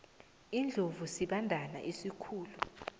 iindlovu sibandana esikhulu